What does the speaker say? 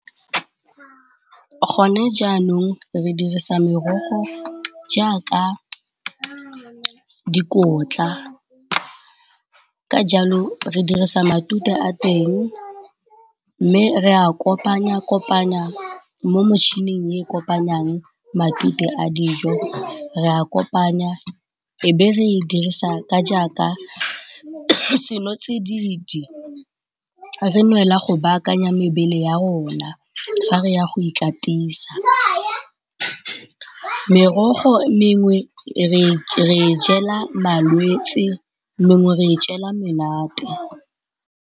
Go ne jaanong re dirisa merogo jaaka dikotla, ka jalo re dirisa matute a teng mme re a kopanya-kopanya mo motšhining e kopanyang matute a dijo. Re a kopanya e be re e dirisa ka jaaka senotsididi, re nwela go baakanya mebele ya rona ga re ya go ikatisa. Merogo mengwe re jela malwetsi mengwe re jela menate.